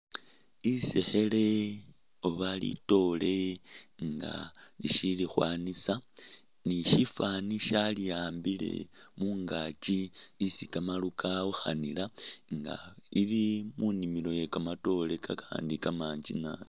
Iseekhele oba litoore nga lishili khwanisa ni shifani shali ambile mungakyi isi kamaru kawukhanila nga lili munimilo iye kamatoore kakandi kamanji naabi